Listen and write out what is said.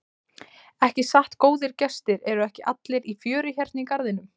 Ekki satt góðir gestir, eru ekki allir í fjöri hérna í garðinum?